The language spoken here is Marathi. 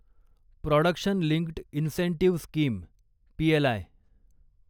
production linked incentive scheme PLI